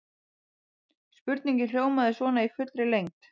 Spurningin hljómaði svona í fullri lengd: